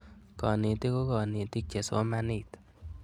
Kanetik ko kanetik che somanit